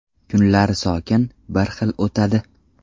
Kunlar sokin, bir xil o‘tadi.